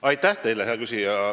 Aitäh teile, hea küsija!